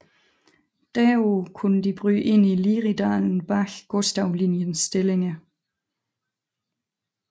Derpå kunne de bryde ind i Liridalen bag Gustavlinjens stillinger